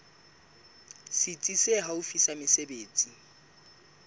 setsi se haufi sa mesebetsi